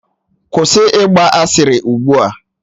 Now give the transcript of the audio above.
Kwụsị ịgba asịrị ugbu a!